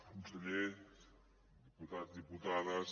conseller diputats diputades